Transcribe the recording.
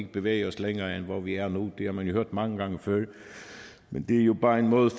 bevæge os længere end vi har gjort nu har man jo hørt mange gange før men det er jo bare en måde